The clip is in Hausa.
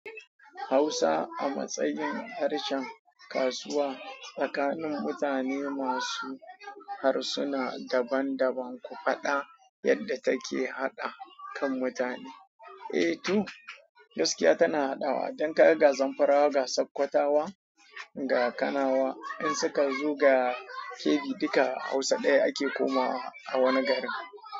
Hausa a matsayin harshen kasuwa tsakanin mutane masu harsuna daban-daban, ku faɗa yadda take haɗa kan mutane. Eh to, gaskiya tana haɗawa. Dan kaga ga Zamfarawa ga sakwatawa ga Kanawa in suka zo ga Kebbi, duka Hausa ɗaya ake komawa a wani gari.